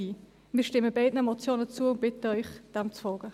Wir stimmen beiden Motionen zu und bitten Sie, dem zu folgen.